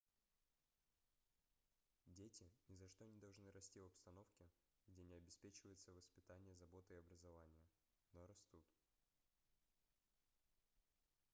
дети ни за что не должны расти в обстановке где не обеспечивается воспитание забота и образование но растут